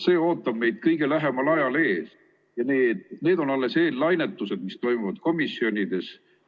See ootab meid kõige lähemal ajal ees ja need on alles eellainetused, mis toimuvad komisjonides.